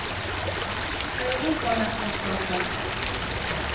europamesterskapet